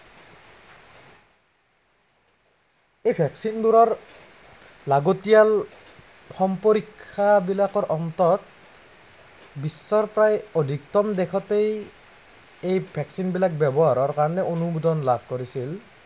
এই vaccine বোৰৰ, লাগতিয়াল সম্প্ৰৰিক্ষা বিলাকৰ অন্তত বিশ্বৰ প্ৰায় অধিকতম দেশতেই এই vaccine বোৰৰ ব্য়ৱহাৰৰ কাৰনে অনুোমদন লাভ কৰিছিল।